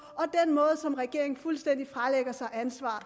og den måde som regeringen fuldstændig fralægger sig ansvar